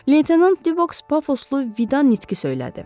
Leytenant Dübəks pafoslu vida nitqi söylədi.